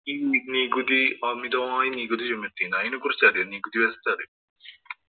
ഈ നികുതി അമിതമായ നികുതി ചുമത്തി. അതിനെ കുറിച്ചറിയോ? നികുതി വ്യവസ്ഥ അറിയോ?